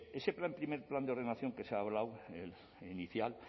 bien ese plan primer plan de ordenación que se ha hablado el inicial